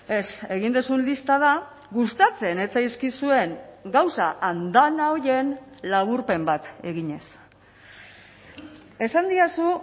ez egin duzun lista da gustatzen ez zaizkizuen gauza andana horien laburpen bat eginez esan didazu